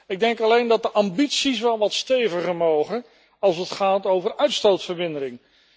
Ik denk alleen dat de ambities wel wat steviger mogen als het gaat over uitstootvermindering.